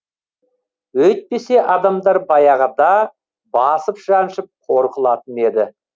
өйтпесе адамдар баяғыда басып жаншып қор қылатын еді